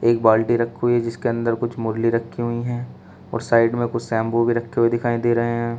एक बाल्टी रखी हुई है जिसके अंदर कुछ मुरली रखी हुई हैं और साइड में कुछ शैंपू भी रखे हुए दिखाई दे रहे हैं।